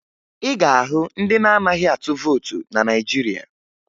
Ị ga-ahụ ndị na-anaghị atụ vootu na Naịjirịa